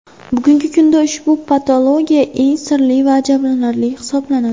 Bugungi kunda ushbu patologiya eng sirli va ajablanarli hisoblanadi.